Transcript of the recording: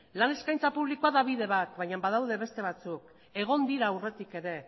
lan eskaintza publikoa da bide bat baina badaude beste batzuk egon dira aurretik ere